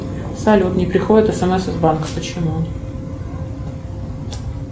салют не приходит смс из банка почему